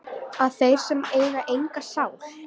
að þeir sem eiga enga sál